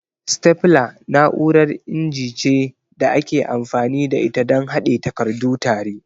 Stapler na'urar inji ce da ake amfani da ita don haɗe takardu tare.